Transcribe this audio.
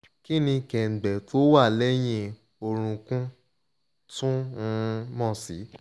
kini kengbe to wa leyin orun kun tun um mo si